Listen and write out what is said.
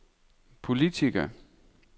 politiker